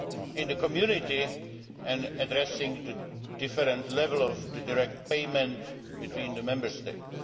in the Community and addressing the different levels of direct payment between the Member States.